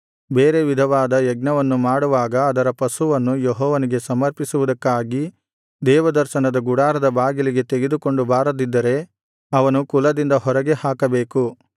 ಬೇರೆ ವಿಧವಾದ ಯಜ್ಞವನ್ನು ಮಾಡುವಾಗ ಅದರ ಪಶುವನ್ನು ಯೆಹೋವನಿಗೆ ಸಮರ್ಪಿಸುವುದಕ್ಕಾಗಿ ದೇವದರ್ಶನದ ಗುಡಾರದ ಬಾಗಿಲಿಗೆ ತೆಗೆದುಕೊಂಡು ಬಾರದಿದ್ದರೆ ಅವನು ಕುಲದಿಂದ ಹೊರಗೆ ಹಾಕಬೇಕು